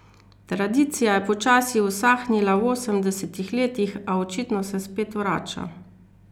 Tradicija je počasi usahnila v osemdesetih letih, a se očitno spet vrača.